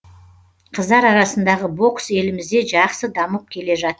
қыздар арасындағы бокс елімізде жақсы дамып келе жатыр